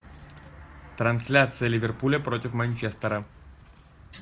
трансляция ливерпуля против манчестера